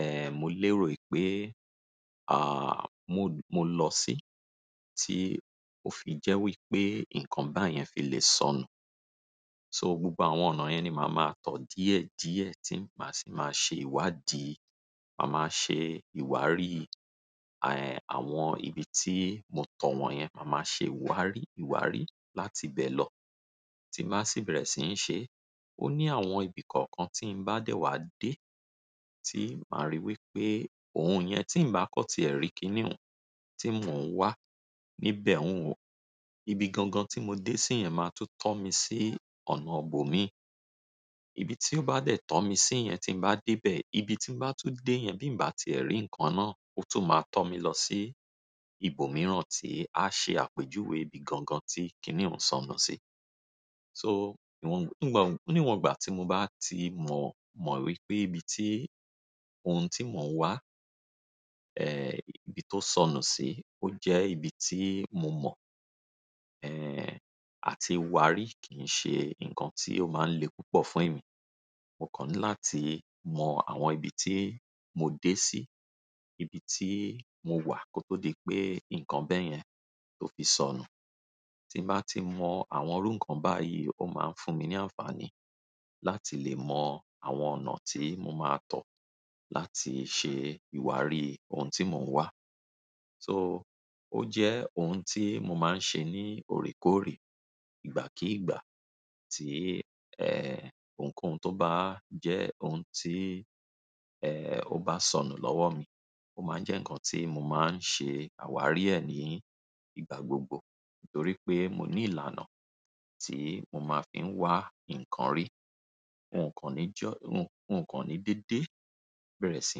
ẹ́, mo lérò wípé, à, mo, mo lọ sí tí ó fi jẹ́ wípé nǹkan báyẹn fi lè sọnù. So gbogbo àwọn ọ̀nà yẹn ni màá máa tọ̀ díẹ̀ díẹ̀ tí màá sì máa ṣe ìwádìí, màá máa ṣe ìwárí, ẹ́, àwọn ibi tí mo tọ̀ wọ́n yẹn, màá máa ṣe ìwárí ìwárí láti bẹ́ẹ̀ lọ. Tí màá sì bẹ̀rẹ̀ sì ń ṣe, ó ní àwọn ibi kọ̀ọ̀kan tí ń bá dẹ wá dé tí màá rí wípé ohun yẹn tí ń bá kọ́ tí ẹ̀ rí kíniún tí mò ń wá níbẹ̀ òun wò. Ibi gangan tí mo dé sí yẹn máa tún tọ́ mi sí ọ̀nà òbò mi. Ibi tí ó bá dẹ̀ tọ́ mi sí yẹn tí mo bá dé bẹ̀, ibi tí mò ń bá tú dé yẹn bí mo bá ti ẹ̀ rí nǹkan náà, ó tún máa tọ́ mi lọ sí ibòmíràn tí á ṣe àpèjúwe ibi gangan tí kíniún sọnù sí. So ìwọ̀n-- níwọ̀n, níwọ̀n ìgbà tí mo bá ti mọ, mọ̀ wípé ibi tí ohun tí mò ń wá, ẹ́, ibi tó sọnù sí, ó jẹ́ ibi tí mo mọ̀, ẹ́, àti wárí kìí ṣe nǹkan tí ó máa ń le púpọ̀ fún èmi. Mo kan ni láti mọ àwọn ibi tí mo dé sí, ibi tí mo wà kó tó di pé nǹkan bẹ́ẹ̀ yẹn tó fi sọnù. Tí bàá ti mọ àwọn irú nǹkan báyìí ó máa ń fún mi ní àǹfààní láti lè mọ àwọn ọ̀nà tí mo máa tọ̀ láti ṣe ìwárí ohun tí mò ń wá. So ó jẹ́ ohun tí mo máa ń ṣe ní òrékòré ìgbà kí ìgbà tí, ẹ́, ohunkóhun tó bá jẹ́ ohun tí, ẹ́, ó bá sọnù lọ́wọ́ mi. Ó máa ń jẹ́ nǹkan tí mo máa ń ṣe àwárí ẹ̀ ní ìgbà gbogbo nítorí pé mo ní ìlànà tí mo máa fi ń wá nǹkan rí. Nkan ni dide bere si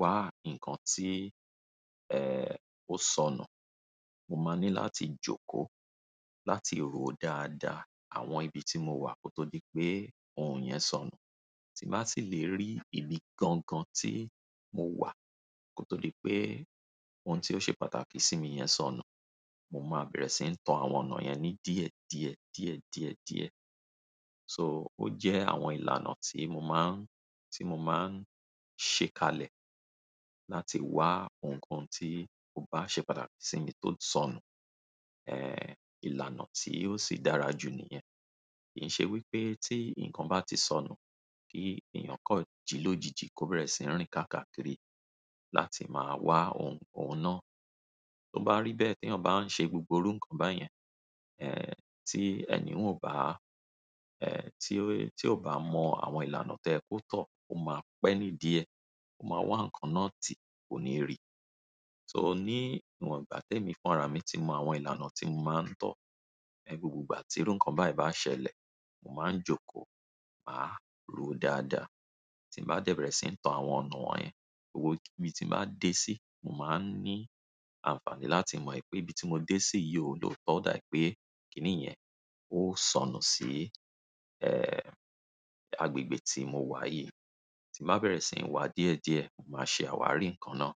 wa nkan ti o sonu. Mo máa ní láti jókòó láti ro dáadáa àwọn ibi tí mo wà kó tó di pé ohun yẹn sọnù. Tí màá sì lè rí ibi gangan tí mo wà kó tó di pé ohun tí ó ṣe pàtàkì sí mi yẹn sọnù, mo máa bẹ̀rẹ̀ sí ń tọ àwọn ọ̀nà yẹn ní díẹ̀ díẹ̀, díẹ̀ díẹ̀ díẹ̀. So ó jẹ́ àwọn ìlànà tí mo má ń, tí mo máa ń ṣe kalẹ̀ láti wá ohun kann tí ó bá ṣe pàtàkì sí mi tó sọnù. Ẹ́, ìlànà tí ó sì dára jù níyẹn. Kì í ṣe wípé tí nǹkan bá ti sọnù kí èèyàn kọ̀ jílójiji kó bẹ̀rẹ̀ sí ń rìn ká kàkírí láti máa wá ohun, ohun náà. Tó bá rí bẹ́ẹ̀ teyan bá ń ṣe gbogbo irú nǹkan báyẹn, ẹ́, tí ẹni ò bá, ẹ́, tí ó, tí ò bá mọ àwọn ìlànà tí oye kó tọ̀, o máa pẹ́ ní díẹ̀, o máa wá nǹkan náà tí kò ní rí. So ní ìwọ̀n ìgbà tí èmi fúnra mi tí mo mọ àwọn ìlànà tí mo máa ń tọ̀, ẹ́, gbogbo ìgbà tí irú nǹkan bá ìbá ṣẹlẹ̀, mo máa ń jókòó, màá ro dáadáa. Tí mo bá dẹ̀ bẹ̀rẹ̀ sí ń tọ àwọn ọ̀nà wọ́n yẹn, gbogbo ibi tí mo bá dé sí, mo máa ń ní àǹfààní láti mọ̀ wípé ibi tí mo dé sí yìí ò lò tó dà ì pé kíni yẹn ó sọnù sí, ẹ́, agbègbè tí mo wà yìí. Tí màá bẹ̀rẹ̀ sì ń wá díẹ̀ díẹ̀, màá ṣe àwárí nǹkan náà.